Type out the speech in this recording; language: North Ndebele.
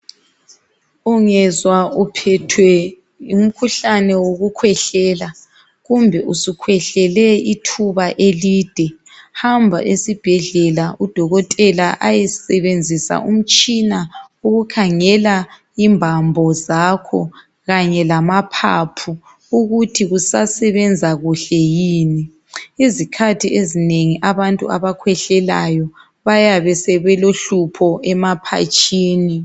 Ungezwa uphethwe ngumkhuhlane wokukhwehlela kumbe usukhwehlele ithuba elide hamba esibhedlela udokotela ayesebenzisa umtshina ukukhangela imbambo zakho kanye lamaphaphu ukuthi kusasebenza kuhle yini. Izikhathi ezinengi abantu akhwehlelayo bayabe sebelohlupho emaphatshini.